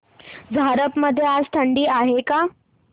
झारप मध्ये आज थंडी आहे का